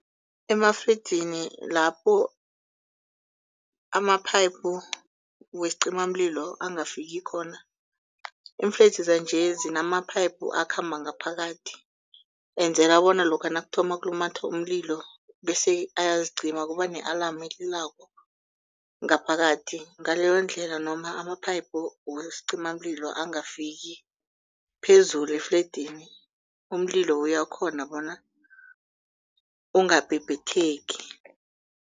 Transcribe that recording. Emafledzini lapho amaphayiphu wesicimamlilo angafiki khona. Iifledzi zanje zinamaphayiphu akhamba ngaphakathi enzela bona lokha nakuthoma kulumatha umlilo bese ayazicima kubane-alamu elilako ngaphakathi. Ngaleyondlela noma ama-phayiphu wesincimamlilo angafiki phezulu efledzini umlilo uyakhona bona ungabhebhetheki.